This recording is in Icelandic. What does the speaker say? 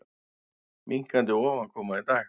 Minnkandi ofankoma í dag